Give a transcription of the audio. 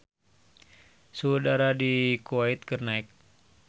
Suhu udara di Kuwait keur naek